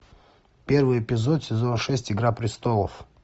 первый эпизод сезон шесть игра престолов